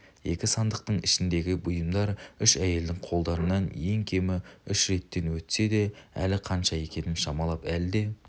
екі сандықтың ішіндегі бұйымдар үш әйелдің қолдарынан ең кемі үш реттен өтсе де әлі қанша екенін шамалап әлде